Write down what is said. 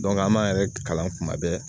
Dɔnke an b'an yɛrɛ kalan kuma bɛɛ